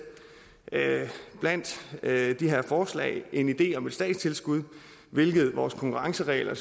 blandt de her forslag en idé om et statstilskud hvilket vores konkurrenceregler